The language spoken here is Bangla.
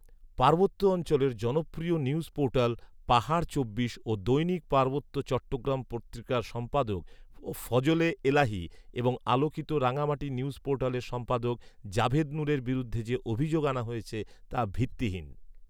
পার্বত্য অঞ্চলের জনপ্রিয় নিউজ পোর্টাল পাহাড় চব্বিশ ও দৈনিক পার্বত্য চট্টগ্রাম পত্রিকার সম্পাদক ফজলে এলাহী এবং আলোকিত রাঙ্গামাটি নিউজ পোর্টালের সম্পাদক জাবেদ নূরের বিরুদ্ধে যে অভিযোগ আনা হয়েছে তা ভিত্তিহীন